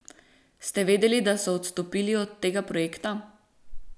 Ste vedeli, da so odstopili od tega projekta?